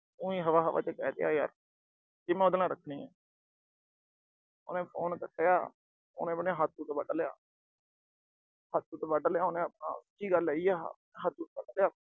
ਉ ਹੀ ਹਵਾ-ਹਵਾ ਚ ਕਹਿ ਤੀਆ ਯਾਰ ਕਿ ਮੈਂ ਉਹਦੇ ਨਾਲ ਰੱਖਣੀ ਆ। ਉਹਨੇ phone ਕੱਟਿਆ। ਉਹਨੇ ਆਪਣਾ ਹੱਥ-ਹੁੱਥ ਵੱਢ ਲਿਆ। ਹੱਥ-ਹੁੱਥ ਵੱਢ ਲਿਆ ਉਹਨੇ ਆਪਣਾ। ਸੱਚੀ ਗੱਲ ਏ ਜੀ ਆਹ। ਹੱਥ-ਹੁੱਥ ਵੱਢ ਲਿਆ।